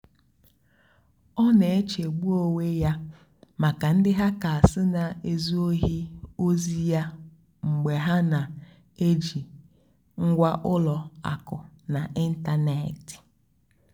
ọ́ nà-èchègbú ónwé yá màkà ndí hàckérs nà-èzú óhì ózì yá mgbe hà nà-èjì ngwá ùlọ àkụ̀ n'ị́ntánètị́.